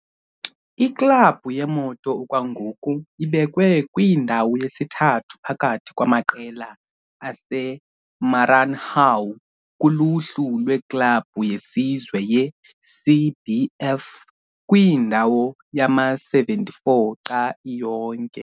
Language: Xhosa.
Iklabhu yeMoto okwangoku ibekwe kwindawo yesithathu phakathi kwamaqela aseMaranhão kuluhlu lweklabhu yesizwe yeCBF, kwindawo yama-74 xa iyonke.